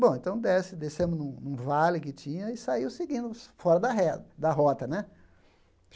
Bom, então desce descemos num num vale que tinha e saiu seguindos, fora da reta da rota, né?